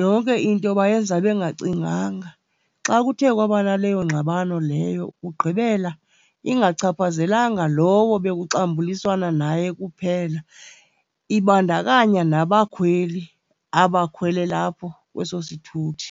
Yonke into bayenza bengacinganga. Xa kuthe kwaba naleyo ngxabano leyo, kugqibela ingachaphazelanga lowo bekuxambuliswana naye kuphela, ibandakanya nabakhweli abakhwelele apho kweso sithuthi.